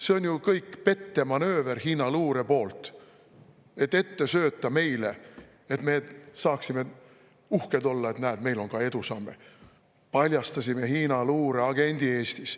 See on ju kõik pettemanööver, mis Hiina luure meile söödab, et me saaksime olla uhked, et näed, meil on ka edusamme, paljastasime Hiina luure agendi Eestis.